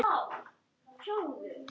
Þín dóttir, Svala Hrönn.